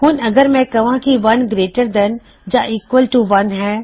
ਹੁਣ ਅਗਰ ਮੈਂ ਕਵਾਂ ਕਿ 1 ਗਰੇਇਟਰ ਦੈਨ ਯਾ ਈਕਵਲ ਟੂ 1 ਹੈ